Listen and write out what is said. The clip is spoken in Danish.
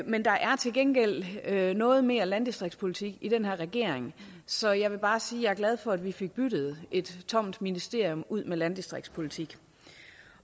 men der er til gengæld noget mere landdistriktspolitik i den her regering så jeg vil bare sige at jeg er glad for at vi fik byttet et tomt ministerium ud med landdistriktspolitik